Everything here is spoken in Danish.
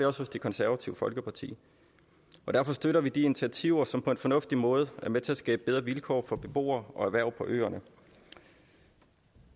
også hos det konservative folkeparti og derfor støtter vi de initiativer som på en fornuftig måde er med til at skabe bedre vilkår for beboere og erhverv på øerne